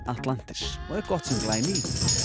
Atlantis og er gott sem glæný